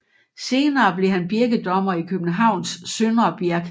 Senere blev han birkedommer i Københavns søndre Birk